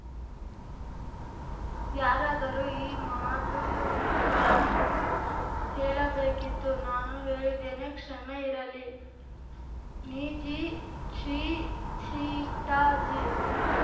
ಯಾರಾದರೂ ಈ ಮಾತುಗಳನ್ನು ಹೇಳಬೇಕಿತ್ತು ನಾನು ಹೇಳಿದ್ದೇನೆ ಕ್ಷಮೆಯಿರಲಿ ಞಜಿ ಛ್ಟಿ ಜ್ಚಿ ಟ್ಟಾಜಿ